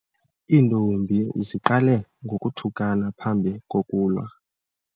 Iintombi ziqale ngokuthukana phambi kokulwa.